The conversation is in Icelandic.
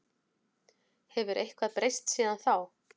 Hefur eitthvað breyst síðan þá?